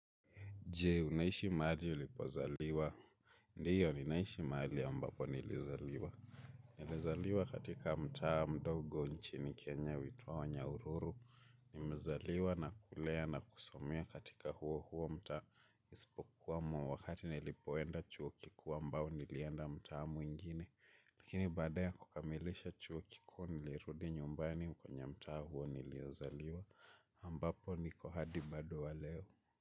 Je, unaishi maali ulipozaliwa? Ndiyo, ninaishi maali ambapo nilizaliwa. Nilizaliwa katika mta mdogo nchini Kenya, huitwa wa nyahururu. Nimezaliwa na kulea na kusomea katika huo huo mtaa isipokuwa wakati nilipoenda chuo kikuu ambao nilienda mtaa mwingine. Lakini baada ya kukamilisha chuo kikuu nilirudi nyumbani kwenye mtaa huo niliozaliwa ambapo niko hadi bado wa leo.